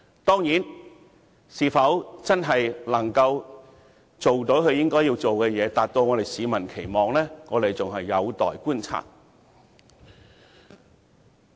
當然，她是否真的能做到她應做的事，達到市民的期望，仍有待觀察。